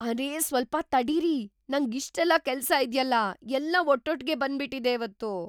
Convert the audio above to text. ಅರೇ ಸ್ವಲ್ಪ ತಡೀರಿ, ನಂಗಿಷ್ಟೆಲ್ಲ ಕೆಲ್ಸ ಇದ್ಯಲ್ಲ! ಎಲ್ಲ ಒಟ್ಟೊಟ್ಗೆ ಬಂದ್ಬಿಟಿದೆ ಇವತ್ತು!